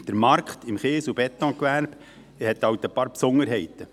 Der Markt im Kies- und Betongewerbe hat halt einige Besonderheiten.